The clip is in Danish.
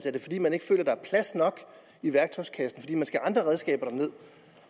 er det fordi man ikke føler plads nok i værktøjskassen fordi man skal have andre redskaber derned